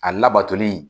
A labatoli